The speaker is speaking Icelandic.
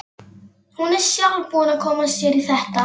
Hún er sjálf búin að koma sér í þetta.